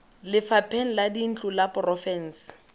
lefapheng la dintlo la porofense